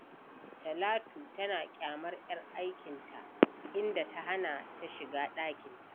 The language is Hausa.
Talatu tana ƙyamar ‘yar aikinta, inda ta hana ta shiga ɗakinta.